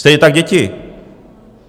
Stejně tak děti.